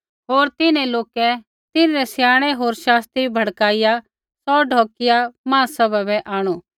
होर तिन्हैं लोका तिन्हरै स्याणै होर शास्त्री भड़काइआ सौ ढौकिआ महासभा बै आंणु